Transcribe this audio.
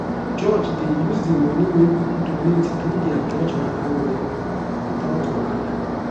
church dey use the money wey people donate do their church matter well without wahala.